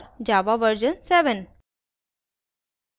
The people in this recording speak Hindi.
java version 7